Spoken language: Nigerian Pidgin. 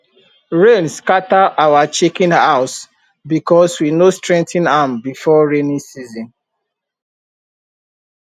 rain scatter our chicken house because we no strengthen am before rainy season